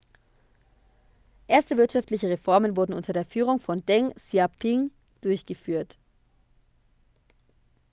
erste wirtschaftliche reformen wurden unter der führung von deng xiaoping durchgeführt